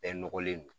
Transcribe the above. Bɛɛ nɔgɔlen don